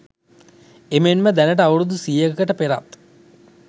එමෙන්ම දැනට අවුරැදු සියයකට පෙරත්